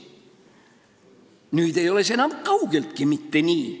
Nüüd ei ole see enam kaugeltki mitte nii.